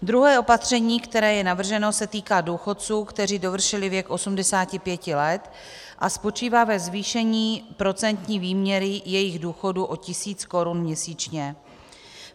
Druhé opatření, které je navrženo, se týká důchodců, kteří dovršili věk 85 let, a spočívá ve zvýšení procentní výměry jejich důchodu o tisíc korun měsíčně.